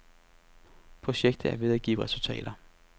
Projektet er ved at give resultater.